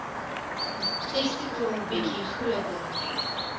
testikel bietjie groter